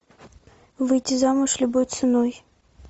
выйти замуж любой ценой